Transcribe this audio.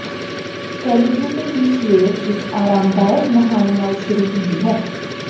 celebrity ਦੀ ਸਵੇਰ ਇੱਕ ਆਰਾਮਦਾਇਕ ਨਹਾਉਣ ਨਾਲ ਸ਼ੁਰੂ ਹੁੰਦੀ ਹੈ